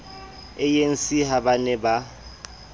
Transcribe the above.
anc ha ba ne ba